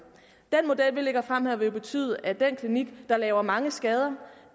den model vi lægger frem her vil betyde at den klinik der laver mange skader